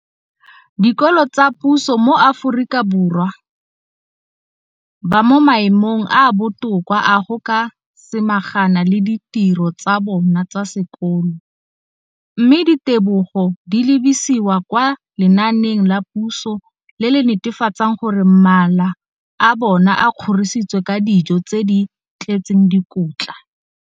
dikolo tsa puso mo Aforika Borwa ba mo maemong a a botoka a go ka samagana le ditiro tsa bona tsa sekolo, mme ditebogo di lebisiwa kwa lenaaneng la puso le le netefatsang gore mala a bona a kgorisitswe ka dijo tse di tletseng dikotla.